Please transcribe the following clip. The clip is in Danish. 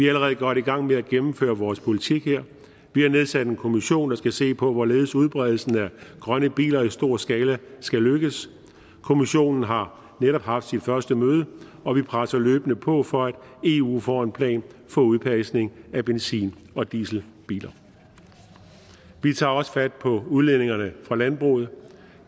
allerede godt i gang med at gennemføre vores politik her vi har nedsat en kommission der skal se på hvorledes udbredelsen af grønne biler i stor skala skal lykkes kommissionen har netop haft et første møde og vi presser løbende på for at eu får en plan for udfasning af benzin og dieselbiler vi tager også fat på udledningerne fra landbruget